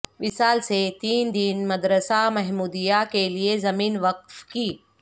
وصال سے تین دن مدرسہ محمودیہ کے لیے زمین وقف کی